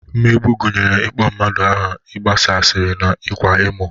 Mmegbu gụnyere ịkpọ mmadụ aha, ịgbasa asịrị na ịkwa emo